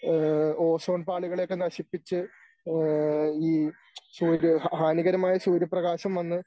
ഏഹ് ozone പാളികളെയൊക്കെ നശിപ്പിച്ച് ഏഹ് ഈ ഹാനികരമായ സൂര്യപ്രകാശം വന്ന്